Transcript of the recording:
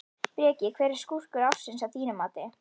Breki: Hver er skúrkur ársins að þínu mati?